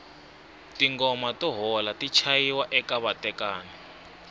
tingoma to hola ti chayiwa eka vatekani